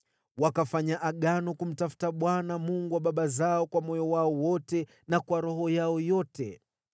Wakafanya agano kumtafuta Bwana , Mungu wa baba zao kwa moyo wao wote na kwa roho yao yote.